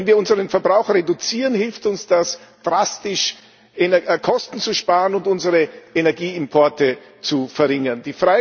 Wenn wir unseren Verbrauch reduzieren, hilft uns das drastisch, Kosten zu sparen und unsere Energieimporte zu verringern.